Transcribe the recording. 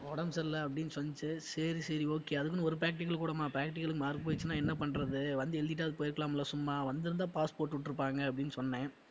உடம்பு சரியில்ல அப்படின்னு செல்லுச்சு சரி சரி okay அதுக்குன்னு ஒரு practical கூடமா practical க்கு mark போயிடுச்சுனா என்ன பண்றது வந்து எழுதிட்டாவது போயிருக்கலாம்ல சும்மா வந்திருந்தா pass போட்டு விட்டிருப்பாங்க அப்படின்னு சொன்னேன்